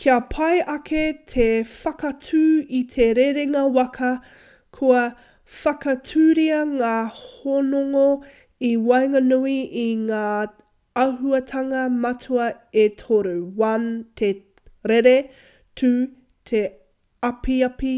kia pai ake te whakaatu i te rerenga waka kua whakatūria ngā hononga i waenganui i ngā āhuatanga matua e toru: 1 te rere 2 te apiapi